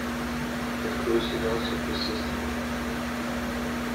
открой сериал сверхъестественное